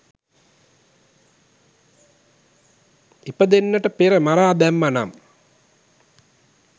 ඉපදෙන්නට පෙර මරා දැම්මානම්